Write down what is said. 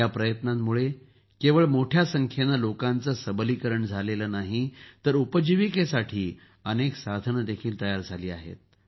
या प्रयत्नामुळे केवळ मोठ्या संख्येनं लोकांचं सबलीकरण झालं नाही तर उपजीविकेसाठी अनेक साधनंही तयार झाली आहेत